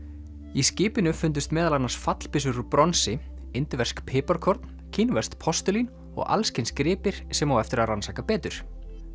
í skipinu fundust meðal annars fallbyssur úr bronsi indversk piparkorn kínverskt postulín og alls kyns gripir sem á eftir að rannsaka betur